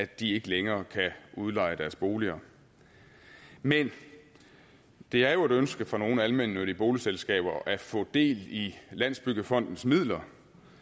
de ikke længere kan udleje deres boliger men det er jo et ønske fra nogle almennyttige boligselskaber at få del i landsbyggefondens midler